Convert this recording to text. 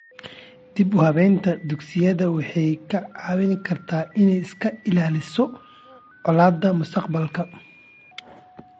Dib u habaynta dugsiyada waxay ka caawin kartaa inay iska ilaaliso colaadaha mustaqbalka.